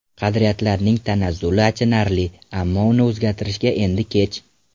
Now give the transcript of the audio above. Qadriyatlarning tanazzuli achinarli, ammo uni o‘zgartirishga endi kech.